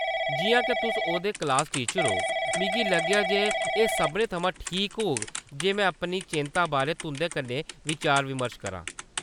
जिʼयां के तुस ओह्‌दे क्लास टीचर ओ, मिगी लग्गेआ जे एह्‌‌ सभनें थमां ठीक होग जे में अपनी चैंत्ता बारै तुंʼदे कन्नै बचार-विमर्श करां।